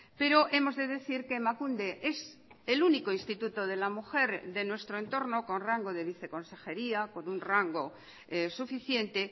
pero hemos de decir que emakunde es el único instituto de la mujer de nuestro entorno con rango de viceconsejería con un rango suficiente